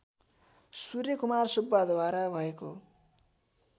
सूर्यकुमार सुब्बाद्वारा भएको